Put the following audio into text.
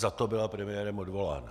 Za to byla premiérem odvolána.